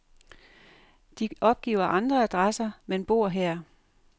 De opgiver andre adresser, men bor her.